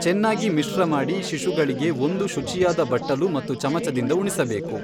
ಚೆನ್ನಾಗಿ ಮಿಶ್ರಮಾಡಿ ಶಿಶುಗಳಿಗೆ ಒಂದು ಶುಚಿಯಾದ ಬಟ್ಟಲು ಮತ್ತು ಚಮಚದಿಂದ ಉಣಿಸಬೇಕು.